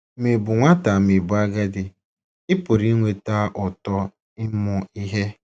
Ma Ị̀ Bụ Nwata Ma Ị̀ Bụ Agadi — Ị pụrụ ịnweta ụtọ ịmụ ihe